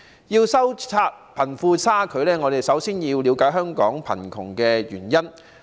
要收窄貧富差距，我們首先要了解香港貧窮的原因。